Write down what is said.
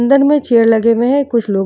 अंदर में लगे हुए है कुछ लोग --